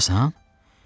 Buradasan?